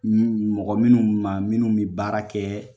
mɔgɔ minnu ma minnu bɛ baara kɛ